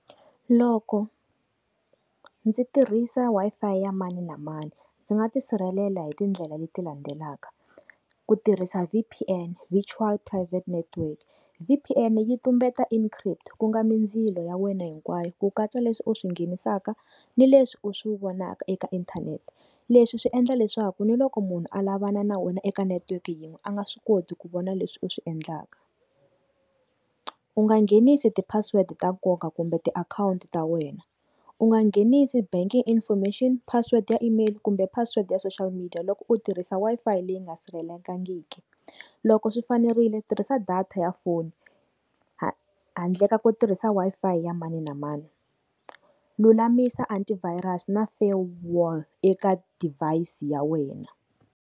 Loko ndzi tirhisa Wi-Fi ya mani na mani ndzi nga tisirhelela hi tindlela leti landzelaka, ku tirhisa V_P_N virtual private network V_P_N yi tumbeta encrypt ku nga mindzilo ya wena hinkwayo ku katsa leswi u swi nghenisaka ni leswi u swi vonaka eka inthanete leswi swi endla leswaku ni loko munhu alava na na wena eka network yin'we a nga swi koti ku vona leswi u swi endlaka. U nga nghenisi ti password ta nkoka kumbe ti akhowunti ta wena u nga nghenisi banking information password ya email kumbe password ya social media loko u tirhisa Wi-Fi leyi nga sirhelelekangiki loko swi fanerile tirhisa data ya foni handle ka ku tirhisa Wi-Fi ya mani na mani, lulamisa antivirus na farewall eka device ya wena.